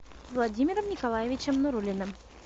владимиром николаевичем нуруллиным